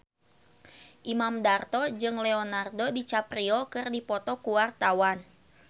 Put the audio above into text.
Imam Darto jeung Leonardo DiCaprio keur dipoto ku wartawan